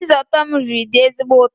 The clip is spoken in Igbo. Risotto m riri dị ezigbo ụtọ